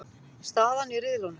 Staðan í riðlunum